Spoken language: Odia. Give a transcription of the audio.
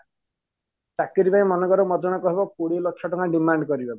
ଚାକିରୀ ପାଇଁ ମନେକର ମତେ ଜଣେ କହିବ କୋଡିଏ ଲକ୍ଷ ଟଙ୍କା demand କରିବ